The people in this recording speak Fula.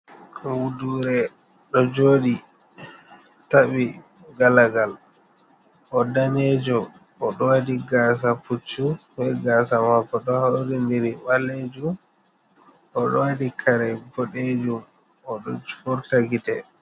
Ɓudure ɗo joɗi taɓɓi galagal, o danejo o ɗo waɗi gasa puccu be gasa mako ɗo hauri ndiri ɓalejum, o ɗo waɗi kare ɓodejum o ɗo furta gitte.